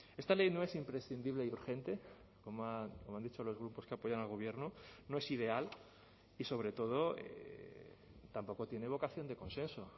esta ley no es imprescindible y urgente como han dicho los grupos que apoyan al gobierno no es ideal y sobre todo tampoco tiene vocación de consenso